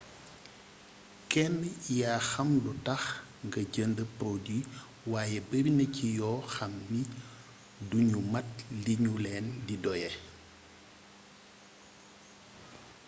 kenn yaa xam lu tax nga jënd produit waaye barina ci yoo xamni duñu mat liñu leen di doyee